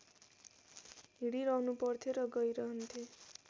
हिँडिरहनुपर्थ्यो र गइरहन्थे